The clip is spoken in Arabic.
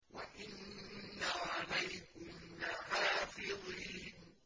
وَإِنَّ عَلَيْكُمْ لَحَافِظِينَ